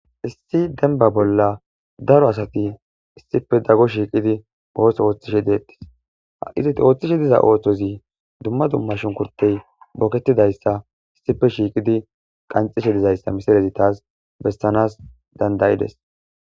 Issi denba bolla daro asati issipe daggo shiiqidi oos ooththishe deettis a'izit ooththishe diza ooththozi dumma dumma shunkurtey booketidayssa issife shiiqidi qanxishe dizayssa misalezi taas bessanas dandayides.